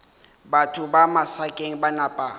batho ba masakeng ba napa